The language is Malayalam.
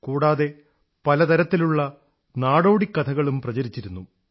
കൂടാതെ പല തരത്തിലുള്ള നാടോടി കഥകളും പ്രചരിച്ചിരുന്നു